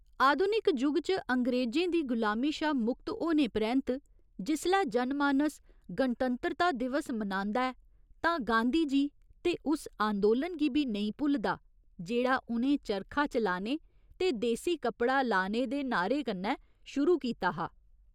आधुनिक युग च अंग्रेजें दी गुलामी शा मुक्त होने परैन्त जिसलै जनमानस गणतंत्रता दिवस मनांदा ऐ तां गांधी जी ते उस आंदोलन गी बी नेईं भुलदा जेह्ड़ा उ'नें चरखा चलाने ते देसी कपड़ा लाने दे नाह्‌रे कन्नै शुरू कीता हा।